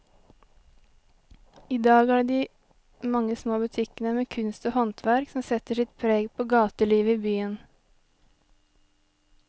I dag er det de mange små butikkene med kunst og håndverk som setter sitt preg på gatelivet i byen.